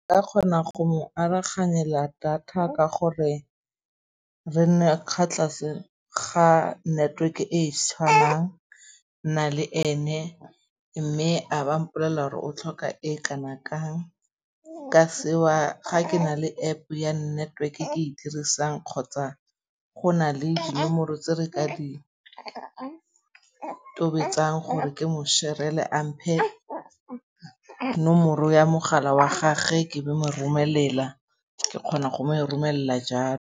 Ke kgona go mo aroganyela data ka gore re nne ka tlase ga network e tshwanang nna le ene. Mme a ba mpolella 'ore o tlhoka e kana-kang. Ka seo ga ke na le App ya network e ke e dirisang kgotsa go na le dinomoro tse re ka ditobetsang gore ke mo-share-ele a mphe nomoro ya mogala wa gage ke be mo romelela. Ke kgona go e mo romelela jalo.